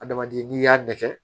Adamaden n'i y'a nɛgɛ